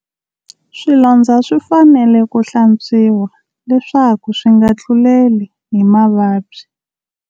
Swilondzo swi fanele ku hlantswiwa, leswaku swi nga tluleli hi mavabyi.